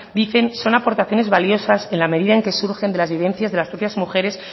dicen son aportaciones valiosas en la medida en que surgen de la vivencias de las propias mujeres